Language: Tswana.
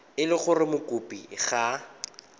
e le gore mokopi ga